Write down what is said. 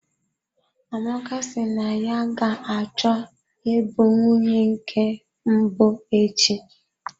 Amaka si na ya ga-achọ ịbụ nwunye nke mbụ echi.